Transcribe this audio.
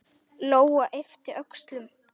Lóa yppti öxlum.